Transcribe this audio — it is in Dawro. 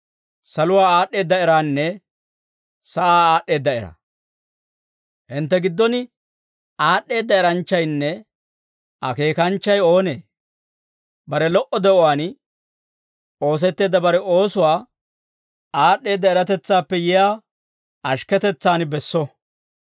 Hintte giddon aad'd'eedda eranchchaynne akeekanchchay oonee? Bare lo"o de'uwaan oosetteedda bare oosuwaa aad'd'eedda eratetsaappe yiyaa ashikketetsaan besso.